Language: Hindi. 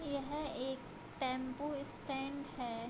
यह एक टेम्पू स्टैंड है |